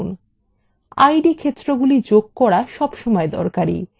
id ক্ষেত্র যোগ করা সবসময় দরকারী